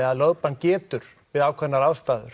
að lögbann getur við ákveðnar aðstæður